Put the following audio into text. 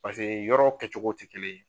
Paseke yɔrɔ kɛ cogo ti kelen ye